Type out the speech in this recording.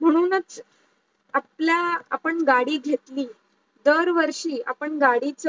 म्हणूनच आपल्या आपण गाडी घेतली दार वर्षी आपण गाडीच